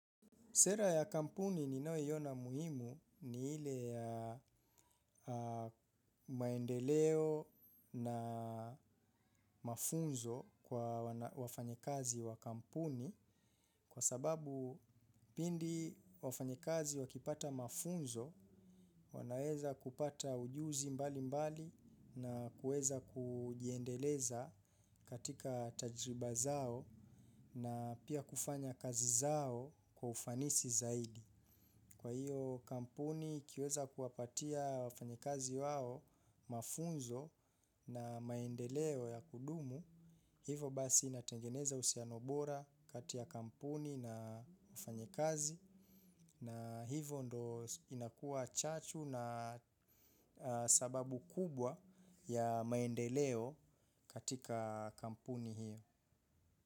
Sera ya kampuni ninayo iona muhimu ni ile ya maendeleo na mafunzo kwa wafanyakazi wa kampuni kwa sababu pindi wafanyakazi wakipata mafunzo wanaeza kupata ujuzi mbali mbali na kueza kujiendeleza katika tajriba zao na pia kufanya kazi zao kwa ufanisi zaidi. Kwa hiyo kampuni ikiweza kuwapatia wafanya kazi wao mafunzo na maendeleo ya kudumu, hivo basi inatengeneza uhusiano bora kati ya kampuni na wafanyakazi na hivo ndo inakua chachu na sababu kubwa ya maendeleo katika kampuni hiyo.